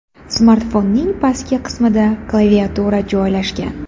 Smartfonning pastki qismida klaviatura joylashgan.